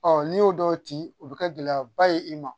Ɔ n'i y'o dɔw ci o bi kɛ gɛlɛyaba ye i ma